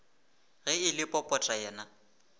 ge e le popota yena